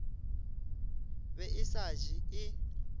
be e sa je e